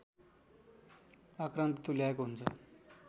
आक्रान्त तुल्याएको हुन्छ